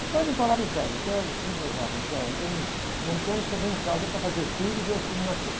Meu pai não parava em casa, até o meu tio gozava, assim, ó, o, o só vem em casa para fazer filhos e ver os filhos nascerem.